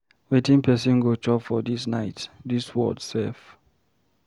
Wetin person go chop for dis night? Dis world sef.